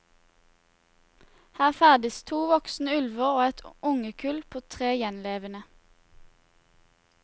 Her ferdes to voksne ulver og et ungekull på tre gjenlevende.